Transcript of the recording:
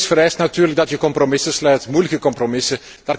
Zoiets vereist natuurlijk dat je compromissen sluit, moeilijke compromissen.